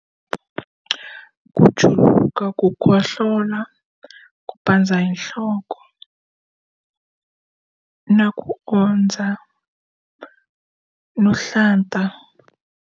ku juluka, ku kohlola, ku pandza hi nhloko, na ku ondza, no hlanta.